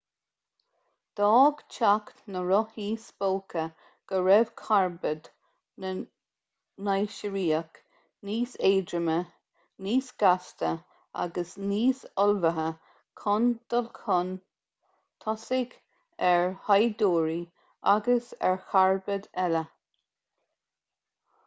d'fhág teacht na rothaí spóca go raibh carbaid na naisiriach níos éadroime níos gasta agus níos ullmhaithe chun dul chun tosaigh ar shaighdiúirí agus ar charbaid eile